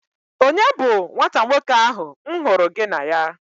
Onye bu nwata nwoke ahụ m hụrụ gị na ya?